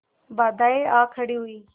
बाधाऍं आ खड़ी हुई